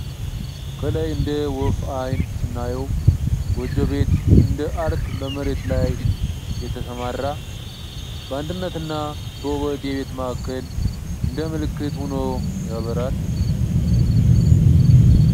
ከላይ እንደ ወፍ አይን ስናየው ጎጆ ቤት፣ እንደ አርት በመሬት ላይ የተሰማራ ፤ በአንድነት እና በውበት የቤት ማዕከል እንደ ምልክት ሆኖ ያበራል።